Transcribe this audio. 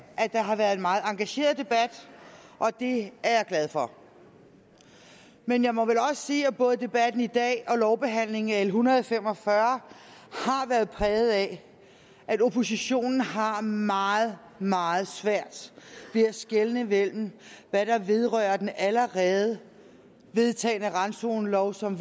at der har været en meget engageret debat og det er jeg glad for men jeg må vel også sige at både debatten i dag og lovbehandlingen af l en hundrede og fem og fyrre har været præget af at oppositionen har meget meget svært ved at skelne mellem hvad der vedrører den allerede vedtagne randzonelov som